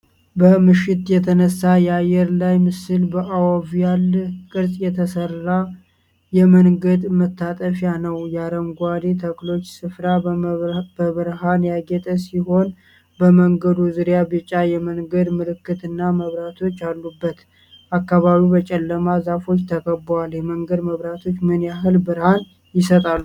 በምሽት የተነሳ የአየር ላይ ምስል በኦቫል ቅርጽ የተሠራ የመንገድ መታጠፊያ ነዉ። የአረንጓዴ ተክሎች ስፍራ በብርሃን ያጌጠ ሲሆን በመንገዱ ዙሪያ ቢጫ የመንገድ ምልክትና መብራቶች አሉበት። አካባቢው በጨለማ ዛፎች ተከቧል። የመንገድ መብራቶቹ ምን ያህል ብርሀን ይሰጣሉ?